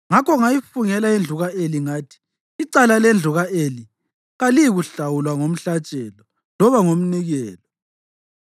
Ngakho, ngayifungela indlu ka-Eli ngathi, ‘Icala lendlu ka-Eli kaliyikuhlawulwa ngomhlatshelo loba ngomnikelo.’ ”